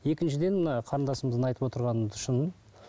екіншіден мына қарындасымыздың айтып отырғаны шын